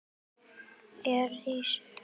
Ég rís upp.